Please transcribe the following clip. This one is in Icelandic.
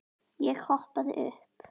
Ég hoppaði upp.